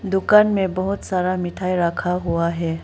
दुकान में बहुत सारा मिठाई रखा हुआ है।